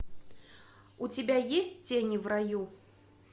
у тебя есть тени в раю